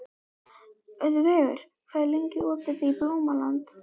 Guðveigur, hvað er lengi opið í Blómalandi?